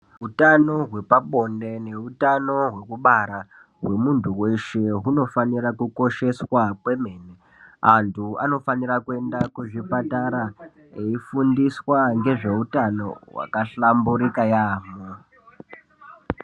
Hutano wepabonde, hutano wekubara, gwemuntu weshe gunofanira kukosheswa kwemene. Antu vanofanira kuenda kuzvipatara, veyifundiswa ngezvehutano wakahlamburika yamo.